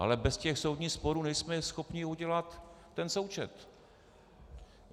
Ale bez těch soudních sporů nejsme schopni udělat ten součet.